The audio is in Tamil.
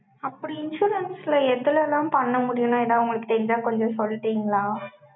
அப்படி, insurance ல, எதுல எல்லாம் பண்ண முடியும்? ஏதாவது, உங்களுக்கு தெரிஞ்சா, கொஞ்சம் சொல்லிட்டீங்களா.